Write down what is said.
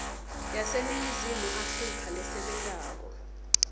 yaseningizimu afrika lesebentako